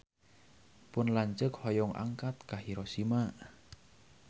Pun lanceuk hoyong angkat ka Hiroshima